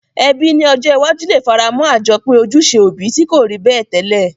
Ebí ni ojó iwájú le faramó àjopín ojúse òbi ti ko rí bẹ́ẹ̀ tẹ́lẹ̀